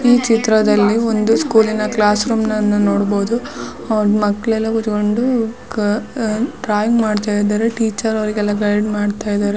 ಈ ಚಿತ್ರದಲ್ಲಿ ಒಂದು ಸ್ಕೂಲ ಇನ ಕ್ಲಾಸ್ ರೂಮ ಅನ್ನು ನೋಡಬಹುದು. ಅವ್ರ್ ಮಕ್ಕಳೆಲ್ಲ ಕುತ್ಕೊಂಡು ಅಹ್ ಡ್ರಾಯಿಂಗ್ ಮಾಡ್ತಾ ಇದ್ದಾರೆ. ಟೀಚರ್ ಅವರಿಗೆಲ್ಲ ಗೈಡ್ ಮಾಡ್ತಾ ಇದ್ದಾರೆ.